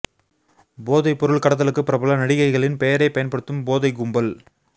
போதை பொருள் கடத்தலுக்கு பிரபல நடிகைகளின் பெயரை பயன்படுத்தும் போதை கும்பல்